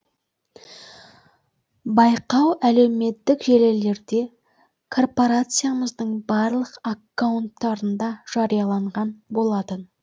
байқау әлеуметтік желілерде корпорациямыздың барлық аккаунттарында жарияланған болатын